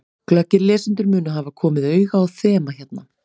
Glöggir lesendur munu hafa komið auga á þema hérna.